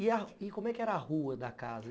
E como é que era a rua da casa?